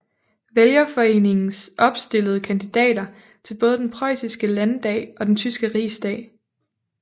Vælgerforeningen opstillede kandidater til både den preussiske landdag og den tyske rigsdag